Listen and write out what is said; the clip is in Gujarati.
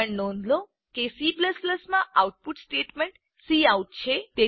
એ પણ નોંધ લો કે C માં આઉટપુટ સ્ટેટમેન્ટ કાઉટ છે